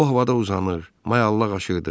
O havada uzanır, mayallaq aşırdı.